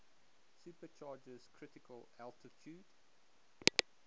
supercharger's critical altitude